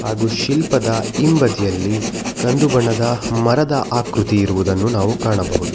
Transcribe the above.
ಹಾಗು ಶಿಲ್ಪದ ಹಿಂಬದಿಯಲ್ಲಿ ಕಂದು ಬಣ್ಣದ ಮರದ ಆಕೃತಿ ಇರುವ ನಾವು ಕಾಣಬಹುದು.